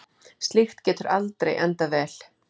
Slíkt getur aldrei endað vel.